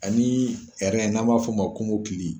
A ni n'a b'a f'o ma ko kɔmɔkili.